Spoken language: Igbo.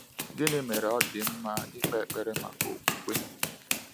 Gịnị mere ọ dị mma ịkpe ekpere maka okwukwe?